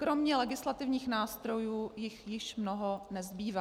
Kromě legislativních nástrojů jich již mnoho nezbývá.